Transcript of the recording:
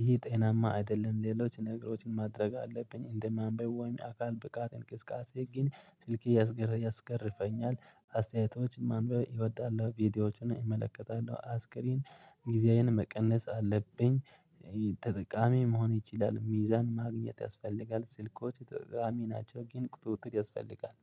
ይሄ ጤናማ አይደለም። ሌሎችን ነገሮችን ማድረግ አለብኝ፣ እንደማንበብ ወይም አካል ብቃት እንቅስቃሴ። ግን ስልኬ ያስገርፈኛል አስተያየቶች ማንበብ እወጣለሁ ቪዲዮዎችን እመለከታለሁ። አስክሪን ጊዜያዬን መቀነስ አለብኝ። ተጠቃሚ መሆን ይችላል። ሚዛን ማግኘት ያስፈልጋል። ስልኮች ጠቃሚ ናቸው ግን ቁጥርጥር ያስፈልጋል።